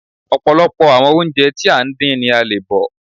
Ọ̀pọ̀lọpọ̀ àwọn oúnjẹ tí à ń dín ni a le bọ̀